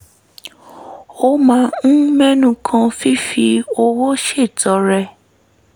a máa ń mẹ́nu kan fífi owó ṣètọrẹ